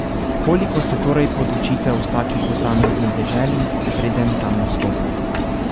Koliko se torej podučite o vsaki posamezni deželi, preden tam nastopite?